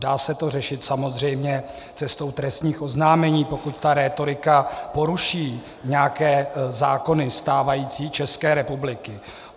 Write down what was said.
Dá se to řešit samozřejmě cestou trestních oznámení, pokud ta rétorika poruší nějaké zákony stávající České republiky.